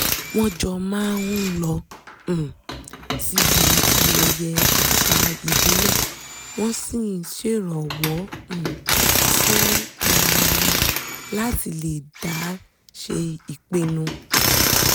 wọ́n jọ máa ń lọ um síbi ayẹyẹ àṣà ìbílẹ̀ wọ́n sì ń ṣèrànwọ́ um fún ara wọn láti lè dá ṣèpinu